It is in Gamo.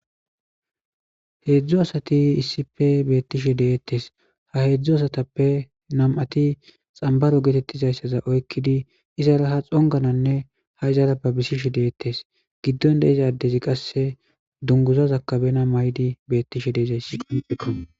Heedzdzo asati issife beettishe deettes. Ha heedzdzu asatappe nam7ati xambbaro geetettizayssaza oykkidi izara ha xongananne ha izara babisishe deettes. giddon de7iza addezi qasse dungguzazakka bena mayidi beettishe de7izayssikko.